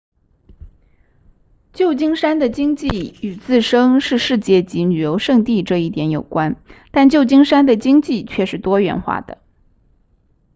旧金山的经济与自身是世界级旅游胜地这一点有关但旧金山的经济却是多元化的